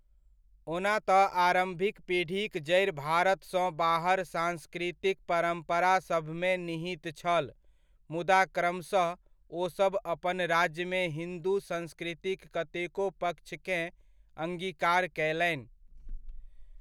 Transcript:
ओना तऽ आरम्भिक पीढ़ीक जड़ि भारतसँ बाहर सांस्कृतिक परम्परा सभमे निहित छल मुदा क्रमशः ओसभ अपन राज्यमे हिन्दू संस्कृतिक कतेको पक्षकेँ अङ्गीकार कयलनि।